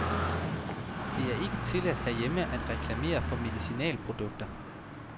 Det er ikke tilladt herhjemme at reklamere for medicinalprodukter.